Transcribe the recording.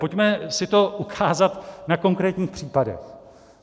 Pojďme si to ukázat na konkrétních případech.